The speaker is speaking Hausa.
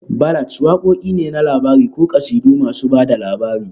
Ballads wakoki ne na labari ko kasidu masu ba da labari